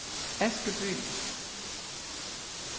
Askeby